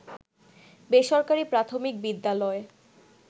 বেসরকারি প্রাথমিক বিদ্যালয়